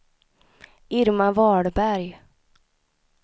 Irma Wahlberg